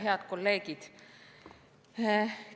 Head kolleegid!